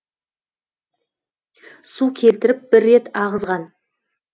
су келтіріп бір рет ағызған